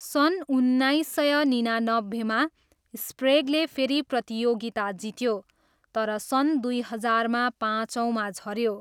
सन् उन्नाइस सय निनानब्बेमा, स्प्रेगले फेरि प्रतियोगिता जित्यो तर सन् दुई हजारमा पाँचौँमा झऱ्यो।